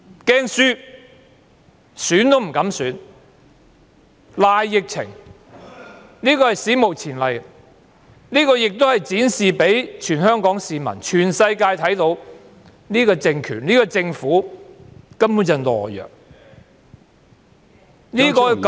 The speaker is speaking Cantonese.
凡此種種，是史無前例的，亦讓全港市民及全世界看到，這個政權和政府是懦弱的......